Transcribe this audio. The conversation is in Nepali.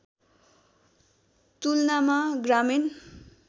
तुलनामा ग्रामीण